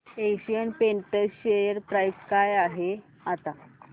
Asian Paints share price काय आहे आता